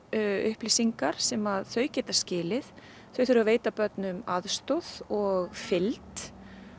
upplýsingar sem þau geta skilið þau þurfa að veita börnum aðstoð og fylgd